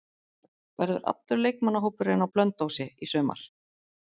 Verður allur leikmannahópurinn á Blönduósi í sumar?